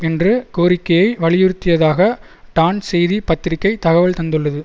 என்ற கோரிக்கையை வலியுறுத்தியதாக டான் செய்தி பத்திரிகை தகவல் தந்துள்ளது